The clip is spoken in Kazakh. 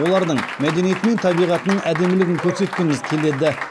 олардың мәдениеті мен табиғатының әдемілігін көрсеткіміз келеді